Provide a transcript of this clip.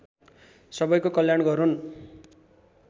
सबैको कल्याण गरून्